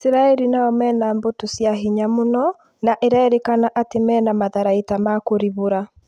Isiraĩri nao mena mbũtũ cia hinya mũno na ĩrerĩkana atĩ mena matharaita ma kũribũra